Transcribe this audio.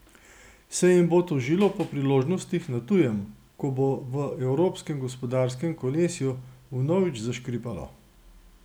Se jim bo tožilo po priložnostih na tujem, ko bo v evropskem gospodarskem kolesju vnovič zaškripalo?